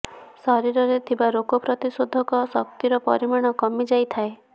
ଶରୀରରେ ଥିବା ରୋଗ ପ୍ରତିରୋଧକ ଶକ୍ତିର ପରିମାଣ କମି ଯାଇଥାଏ